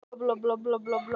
Sú samvinna mun halda áfram